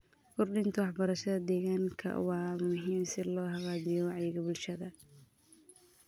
Kordhinta waxbarashada deegaanka waa muhiim si loo hagaajiyo wacyiga bulshada.